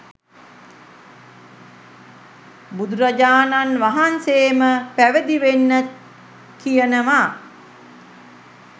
බුදුරජාණන් වහන්සේම පැවිදි වෙන්න කියනවා.